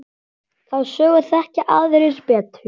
Þá sögu þekkja aðrir betur.